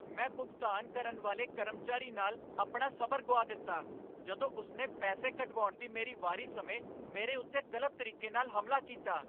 ਮੈਂ ਭੁਗਤਾਨ ਕਰਨ ਵਾਲੇ ਕਰਮਚਾਰੀ ਨਾਲ ਆਪਣਾ ਸਬਰ ਗੁਆ ਦਿੱਤਾ ਜਦੋਂ ਉਸ ਨੇ ਪੈਸੇ ਕਢਵਾਉਣ ਦੀ ਮੇਰੀ ਵਾਰੀ ਸਮੇਂ ਮੇਰੇ ਉੱਤੇ ਗ਼ਲਤ ਤਰੀਕੇ ਨਾਲ ਹਮਲਾ ਕੀਤਾ।